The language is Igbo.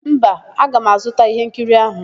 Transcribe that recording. Mba, aga m azụta íhénkiri áhụ̀.